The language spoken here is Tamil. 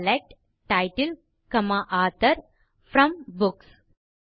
select title author from books